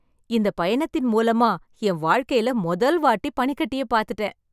இந்தப் பயணத்தின் மூலமா என் வாழ்க்கைல மொதல் வாட்டி பனிக்கட்டியைப் பார்த்துட்டேன்.